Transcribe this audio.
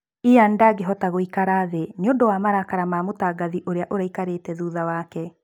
Ian ndagĩahota gũikara thĩĩ nĩundun wa marakara ma mũtangathi uria ũraikarĩte thutha wake.